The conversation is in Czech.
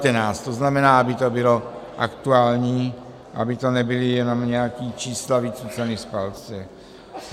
To znamená, aby to bylo aktuální, aby to nebyla jenom nějaká čísla vycucaná z palce.